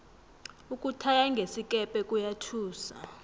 ukuthaya ngesikepe kuyathusa